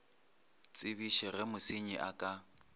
tsebiše ge mosenyi a ka